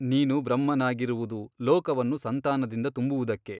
ನೀನು ಬ್ರಹ್ಮನಾಗಿರುವುದು ಲೋಕವನ್ನು ಸಂತಾನದಿಂದ ತುಂಬುವುದಕ್ಕೆ.